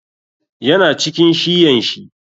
Ya na cikin shiyan shi.